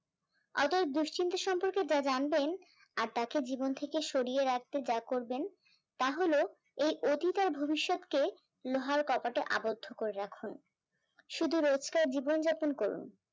অর্থাৎ দুশ্চিন্তা সম্পর্কে যা জানবেন, আর তাকে জীবন থেকে সরিয়ে রাখতে যা করবেন, তা হল এই অতীত আর ভবিষ্যৎকে লোহার কোপাতে অবোধ করে রাখুন, শুধু রোজকার জীবন যাপন করুন